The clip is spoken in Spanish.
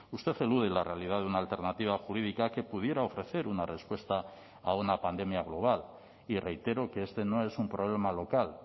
usted elude la realidad de una alternativa jurídica que pudiera ofrecer una respuesta a una pandemia global y reitero que este no es un problema local